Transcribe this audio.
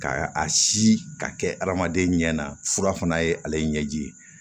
Ka a si ka kɛ hadamaden ɲɛ na fura fana ye ale ɲɛji ye